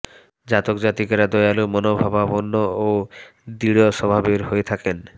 জাতক জাতিকারা দয়ালু মনোভাবাপন্ন ও দৃঢ় স্বভাবের হয়ে থাকেন